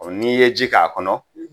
O n'i ye ji k'a kɔnɔ